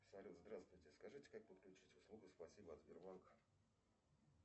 салют здравствуйте скажите как подключить услугу спасибо от сбербанка